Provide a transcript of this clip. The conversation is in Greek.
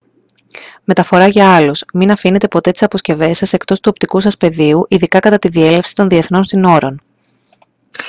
μεταφορά για άλλους μην αφήνεται ποτέ τις αποσκευές σας εκτός του οπτικού σας πεδίου ειδικά κατά τη διέλευση των διεθνών συνόρων